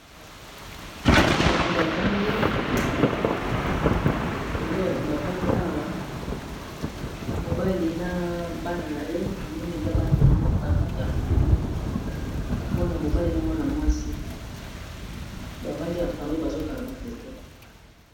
Bato bavandi, eza bato bavandi awa mobali na bana na ye na moni eza bana na ye bavandi en famile mwana mobali na mwana mwasi bavandi en famille bazokanga foto.